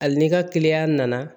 Hali ni ka kiliyan nana